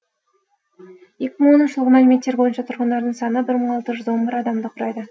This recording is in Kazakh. екі мың оныншы жылғы мәліметтер бойынша тұрғындарының саны бір мың алты жүз он бір адамды құрайды